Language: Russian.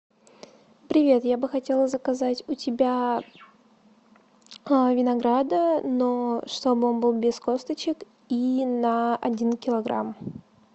привет я бы хотела заказать у тебя винограда но чтоб он был без косточек и на один килограмм